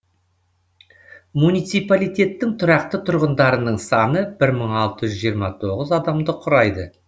муниципалитеттің тұрақты тұрғындарының саны бір мың алты жүз жиырма тоғыз адамды құрайды